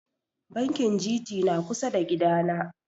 Bankin Gt na kusa da gida na